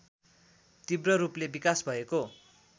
तीव्ररूपले विकास भएको